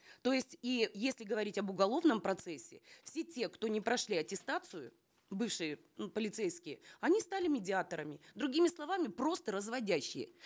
то есть и если говорить об уголовном процессе все те кто не прошли аттестацию бывшие м полицейские они стали медиаторами другими словами просто разводящие